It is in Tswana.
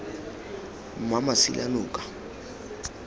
mmamasilanoka